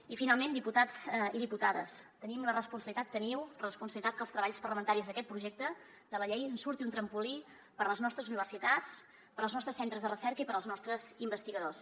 i finalment diputats i diputades tenim la responsabilitat teniu la responsabilitat que dels treballs parlamentaris d’aquest projecte de la llei en surti un trampolí per a les nostres universitats per als nostres centres de recerca i per als nostres investigadors